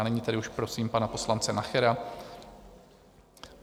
A nyní tedy už prosím pana poslance Nachera.